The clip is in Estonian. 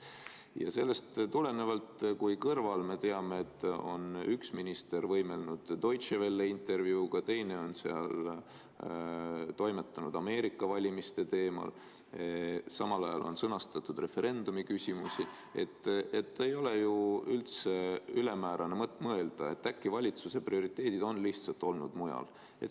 Ja samas kõrval, me teame, on üks minister võimelnud Deutsche Welles intervjuuga, teine on seal toimetanud Ameerika valimiste teemal, samal ajal on sõnastatud referendumi küsimusi – ei ole ju üldse ülemäärane mõelda, et äkki valitsuse prioriteedid on lihtsalt olnud mujal.